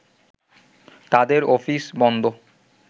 তাদের অফিস বন্ধ